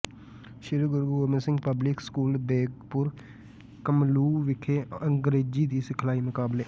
ਸ੍ਰੀ Guru Gobind Singh public school Begpur Kamluh ਵਿਖੇ ਅੰਗਰੇਜ਼ੀ ਦੀ ਲਿਖਾਈ ਮੁਕਾਬਲੇ